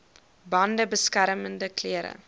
bande beskermende klere